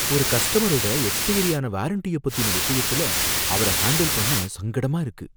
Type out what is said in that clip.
ஒரு கஸ்டமரோட எக்ஸ்பயரியான வாரண்ட்டய பத்தின விஷயத்துல அவர ஹாண்டில் பண்ண சங்கடமா இருக்கு.